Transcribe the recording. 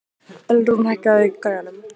Ölrún, hækkaðu í græjunum.